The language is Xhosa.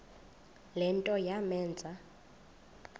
le nto yamenza